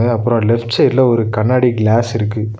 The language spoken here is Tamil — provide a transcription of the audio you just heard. அப்ரோ லெஃப்ட் சைட்ல ஒரு கண்ணாடி கிளாஸ் இருக்கு.